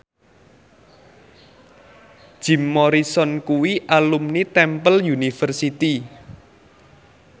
Jim Morrison kuwi alumni Temple University